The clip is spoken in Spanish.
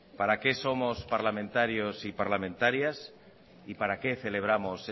para qué somos parlamentarios y parlamentarias y para qué celebramos